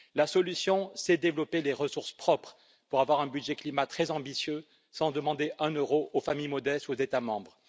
La solution serait de développer les ressources propres pour avoir un budget climat très ambitieux, sans demander un euro aux familles modestes ou aux États membres.